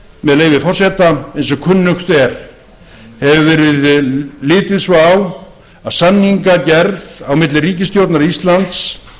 með leyfi forseta eins og kunnugt er hefur verið litið svo á að samningagerð á milli ríkisstjórnar íslands